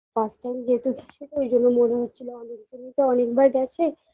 first time যেহেতু গেছিতো ওইজন্য মনে হচ্ছিল অনেক দূর তো অনেকবার গেছে